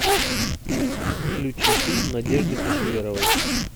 включи фильм надежды кошеверовой